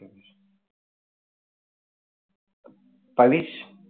Pavish